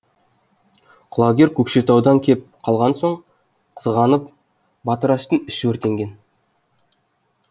құлагер көкшетаудан кеп қалған соң қызғанып батыраштың іші өртенген